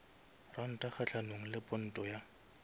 ranta kgahlanong le ponto ya